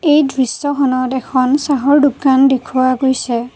এই দৃশ্যখনত এখন চাহৰ দোকান দেখুওৱা গৈছে।